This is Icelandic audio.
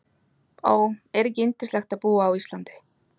Ó, er ekki yndislegt að búa á Íslandi?